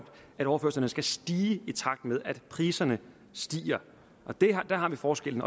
overførslerne skal stige i takt med at priserne stiger der har vi forskellen